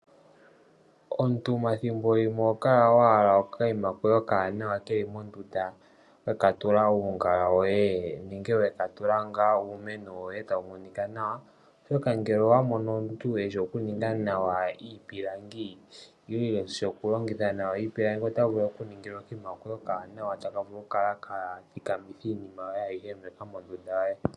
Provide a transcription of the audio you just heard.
Omuti ethimbolimwe ohokala wahala okanima koye okawanawa keli mondunda weka tula uungala woye nenge wekatula ngaa uumeno woye tawu monika nawa ,oshoka ngele owamono omuntu eshi okuninga nawa iipilangi nenge eshi okulongitha nawa iipilangi otavulu oku ku ningila okanima koye okawanawa taka vulu okukala ka thikamitha iinima ayihe mbyoka mondunda yoye.